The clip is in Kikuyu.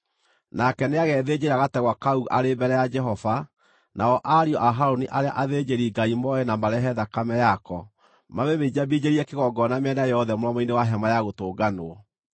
Nake nĩagethĩnjĩra gategwa kau arĩ mbere ya Jehova, nao ariũ a Harũni arĩa athĩnjĩri-Ngai moe na marehe thakame yako, mamĩminjaminjĩrie kĩgongona mĩena yothe mũromo-inĩ wa Hema-ya-Gũtũnganwo.